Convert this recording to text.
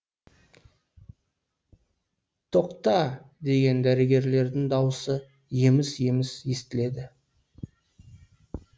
тоқта деген дәрігерлердің дауысы еміс еміс естіледі